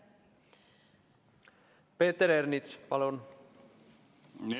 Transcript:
Peeter Ernits, palun!